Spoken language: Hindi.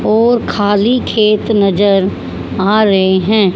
और खाली खेत नजर आ रहे हैं।